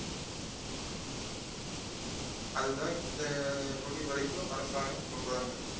அது தான் இந்த நொடி வரைக்கும் அரசாங்கம் சொல்றாங்க